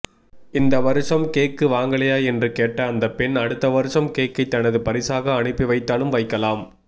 இந்த வருஷம் கேக்கு வாங்கலையா என்று கேட்ட அந்த பெண் அடுத்த வருஷம் கேக்கை தனது பரிசாக அனுப்பிவைத்தாலும் வைக்கலாம்